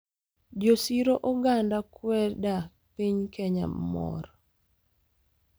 Jo siro oganda kweda piny Kenya mor